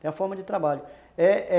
Tem a forma de trabalho. É é